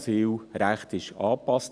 Das Asylrecht wurde angepasst.